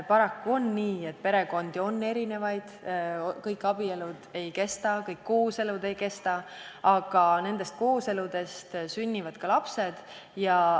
Paraku on nii, et perekondi on erinevaid, kõik abielud ei kesta, kõik kooselud ei kesta, aga nendest kooseludest sünnivad ka lapsed.